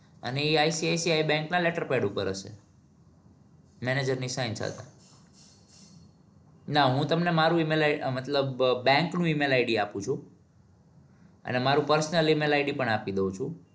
અને ઇ ICICI bank ના letterpad પર હશે. manager ની sign સાથે. ના હું તમને હું મારું EmailI'D મતલબ bank નું email id આપુ છું. અને મારું presonal emailI'D પણ આપી દવ છું.